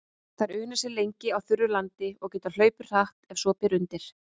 Þær una sér lengi á þurru landi og geta hlaupið hratt ef svo ber undir.